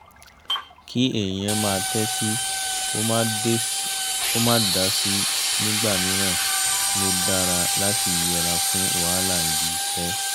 kí èèyàn máa tẹ́tí kó má dási nígbà míìran ló dára láti yẹra fún wàhálà ibi-iṣẹ́